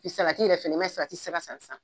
pi salati wɛrɛ fɛnɛ i m'a ye Salati ti se ka sisan